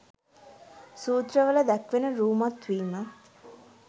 සූත්‍රවල දැක්වෙන රූමත් වීම